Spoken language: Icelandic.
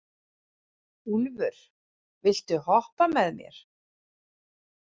Úlfur, viltu hoppa með mér?